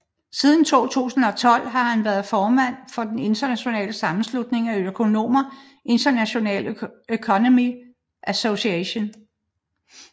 Siden 2012 har han været formand for den internationale sammenslutning af økonomer International Economic Association